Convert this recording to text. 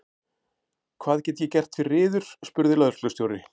Hvað get ég gert fyrir yður? spurði lögreglustjóri.